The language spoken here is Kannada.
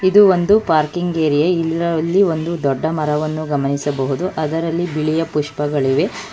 ಇದು ಒಂದು ಪಾರ್ಕಿಂಗ್ ಏರಿಯಾ ಇಲ್ಲರಲ್ಲಿ ಒಂದು ದೊಡ್ಡ ಮರವನ್ನು ಗಮನಿಸಬಹುದು ಅದರಲ್ಲಿ ಬಿಳಿಯ ಪುಷ್ಪಗಳಿವೆ.